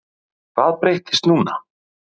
Hvað breyttist núna?